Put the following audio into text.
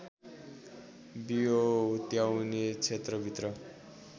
बियो हुत्याउने क्षेत्रभित्र